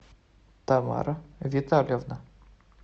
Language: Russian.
тамара витальевна